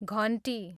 घन्टी